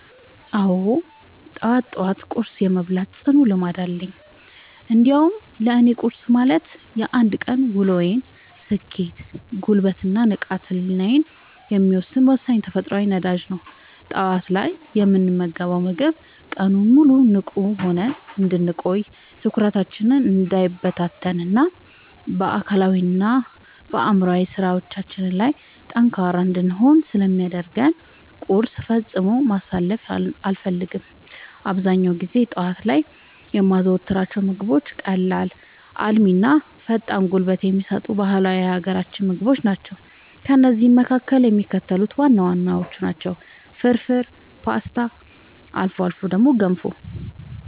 አዎ፣ ጠዋት ጠዋት ቁርስ የመብላት ጽኑ ልምድ አለኝ። እንዲያውም ለእኔ ቁርስ ማለት የአንድ ቀን ውሎዬን ስኬት፣ ጉልበት እና ንቃተ ህሊናዬን የሚወሰን ወሳኝ የተፈጥሮ ነዳጅ ነው። ጠዋት ላይ የምንመገበው ምግብ ቀኑን ሙሉ ንቁ ሆነን እንድንቆይ፣ ትኩረታችን እንዳይበታተን እና በአካላዊም ሆነ በአእምሯዊ ስራዎቻችን ላይ ጠንካራ እንድንሆን ስለሚያደርገን ቁርስን ፈጽሞ ማሳለፍ አልፈልግም። አብዛኛውን ጊዜ ጠዋት ላይ የማዘወትራቸው ምግቦች ቀላል፣ አልሚ እና ፈጣን ጉልበት የሚሰጡ ባህላዊ የሀገራችንን ምግቦች ናቸው። ከእነዚህም መካከል የሚከተሉት ዋና ዋናዎቹ ናቸው፦ ፍርፍር: ፖስታ: አልፎ አልፎ ገንፎ